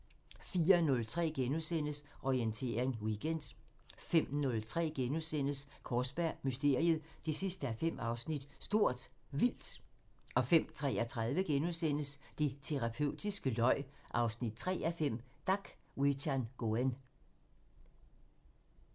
04:03: Orientering Weekend * 05:03: Kaarsberg Mysteriet 5:5 – Stort Vildt * 05:33: Det terapeutiske løg 3:5 – Dak Wichangoen *